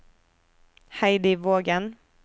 Heidi Vågen